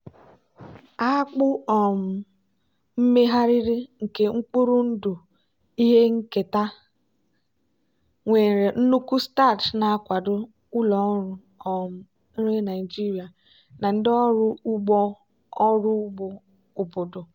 akpụ um megharịrị nke mkpụrụ ndụ ihe nketa nwere nnukwu starch na-akwado ụlọ ọrụ um nri naijiria na ndị ọrụ ugbo ọrụ ugbo obodo.